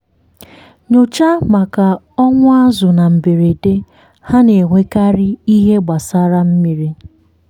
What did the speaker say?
nyochaa maka ọnwụ azụ̀ na mberede—ha na-enwekarị ihe gbasara mmiri.